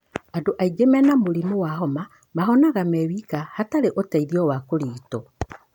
Andũ aingĩ mena mũrimũ wa homa mahonaga me wika hatarĩ ũteithio wa kũrigito.